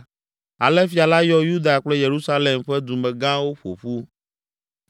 Ale fia la yɔ Yuda kple Yerusalem ƒe dumegãwo ƒo ƒu.